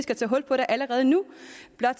gør